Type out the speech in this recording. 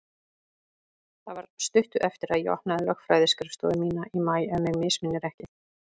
Það var stuttu eftir að ég opnaði lögfræðiskrifstofu mína í maí, ef mig misminnir ekki.